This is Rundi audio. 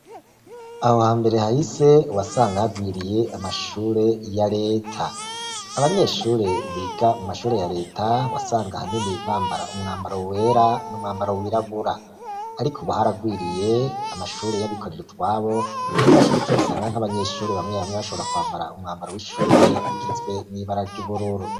Aho ha mbere haho ise wasanga hagwiriye amashure ya leta abanyeshure biga mu mashure ya leta wasanga haneni bambara umwambaro wera n'umwambaro wirabura, ariko ubuharagwiriye amashure y'abikorero utwabo ari na co gituma sanga nk'abanyeshure bamwebamwe bashobora kwambara umwambaro w'ishure kitswe n'ibara ry'ugoruro.